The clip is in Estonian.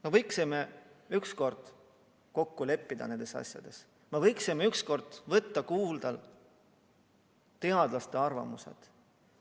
Me võiksime ükskord ometi nendes asjades kokku leppida, me võiksime ükskord võtta kuulda teadlaste arvamust.